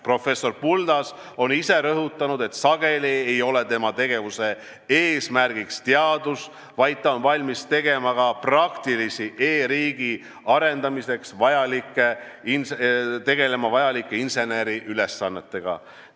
Professor Buldas on ise rõhutanud, et sageli ei ole tema tegevuse eesmärk teadus, vaid ta on valmis tegelema ka praktiliste e-riigi arendamiseks vajalike inseneriülesannetega.